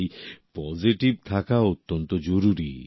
তাই পজিটিভ থাকা অত্যন্ত জরুরী